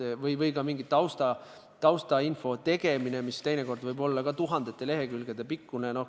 Sama võib öelda ka taustainfo kohta, mis teinekord võib olla tuhandete lehekülgede pikkune.